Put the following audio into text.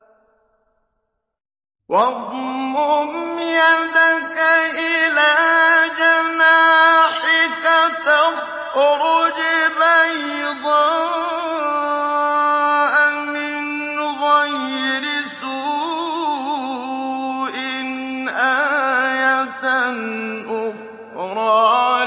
وَاضْمُمْ يَدَكَ إِلَىٰ جَنَاحِكَ تَخْرُجْ بَيْضَاءَ مِنْ غَيْرِ سُوءٍ آيَةً أُخْرَىٰ